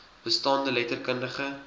bestaande letter kundige